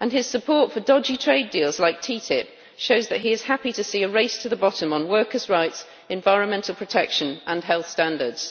His support for dodgy trade deals, like TTIP, shows that he is happy to see a race to the bottom on workers' rights, environmental protection and health standards.